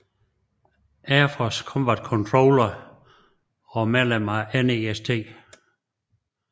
Air Force Combat Controller og medlem af NEST